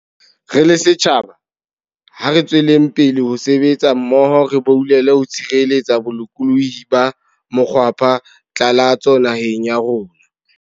Re le setjhaba, ha re tsweleng pele ho sebetsa mmoho re boulele ho tshireletsa bolokolohi ba mokgwapha tlalatso naheng ya rona.